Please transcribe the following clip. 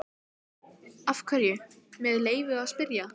Af hverju, með leyfi að spyrja?